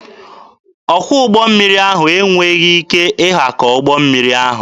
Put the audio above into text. Ọkwọ ụgbọ mmiri ahụ enweghị ike ịhakọ ụgbọ mmiri ahụ.